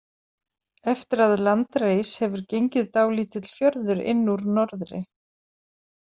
Eftir að land reis hefur gengið dálítill fjörður inn úr norðri.